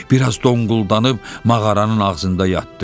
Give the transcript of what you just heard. Bir az donquldanaıb, mağaranın ağzında yatdı.